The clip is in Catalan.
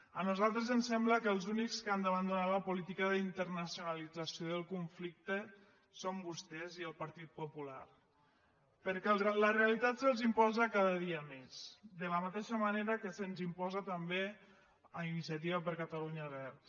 a nosaltres ens sembla que els únics que han d’abandonar la política d’internacionalització del conflicte són vostès i el partit popular perquè la realitat se’ls imposa cada dia més de la mateixa manera que se’ns imposa també a iniciativa per catalunya verds